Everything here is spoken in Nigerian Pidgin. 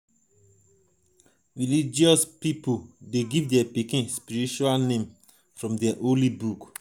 religious pipo de give their pikin spiritual name from their holy book